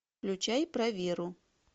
включай про веру